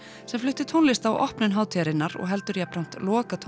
sem flutti tónlist á opnun hátíðarinnar og heldur jafnframt